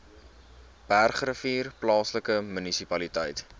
bergrivier plaaslike munisipaliteit